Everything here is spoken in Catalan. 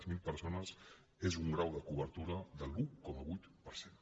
zero persones és un grau de cobertura de l’un coma vuit per cent